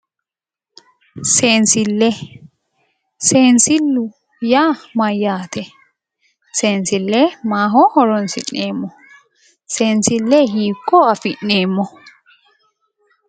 Seensillee, seensillu yaa mayyaate? Seensille maaho horoonsi'neemmo? Seensille hiikko afi'neemmo?